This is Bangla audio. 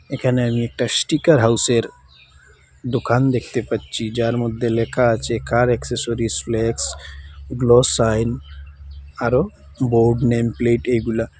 এখানে আমি একটা স্টিকার হাউসের দোকান দেখতে পাচ্চি যার মদ্যে লেখা আছে car accessories flex glow sign আরও বোর্ড নেমপ্লেট এইগুলা।